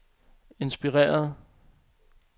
inspireret